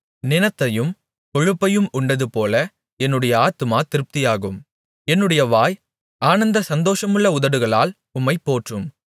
நிணத்தையும் கொழுப்பையும் உண்டதுபோல என்னுடைய ஆத்துமா திருப்தியாகும் என்னுடைய வாய் ஆனந்த சந்தோஷமுள்ள உதடுகளால் உம்மைப் போற்றும்